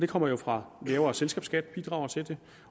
kommer jo fra lavere selskabsskat som bidrager til det